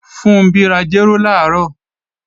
Funbí ra jéró làárọ̀